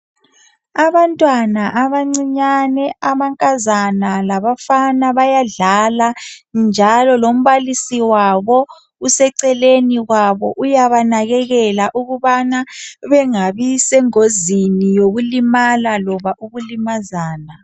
Abantwana abancinyane amankazana labafana bayadlala njalo lombalisi wabo useceleni kwabo uyaba nakekela ukubana bengabi sengozini yokulimala loba ukulimazana.